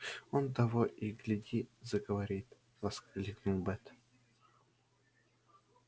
он того и гляди заговорит воскликнул бэт